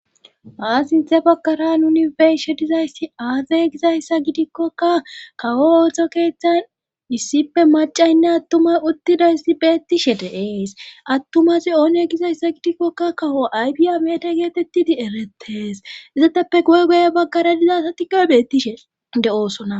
aa sinthe baggara nunibeshe dizaysti aaze gizayssa gidikkoka kawo ooto keeththan issippe macaynne attumas uttidaysti beettishe deees attumazi oone gizayssa gidikkokka kawo aybi amede geetettidi erettes izateppe goy goye baggara diza satiga beettishe de7oosona